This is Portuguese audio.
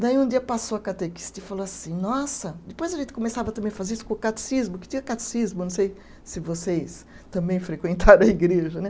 Daí um dia passou a catequista e falou assim, nossa, depois a gente começava também a fazer isso com o catecismo, que tinha catecismo, não sei se vocês também frequentaram a igreja, né?